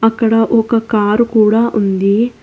అక్కడ ఒక కారు కూడా ఉంది.